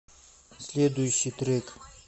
следующий трек